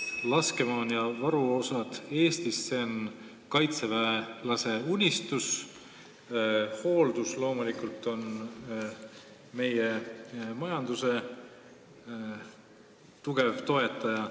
Laskemoon ja varuosad Eestist on kaitseväelase unistus ning hooldus on loomulikult meie majanduse tugev toetaja.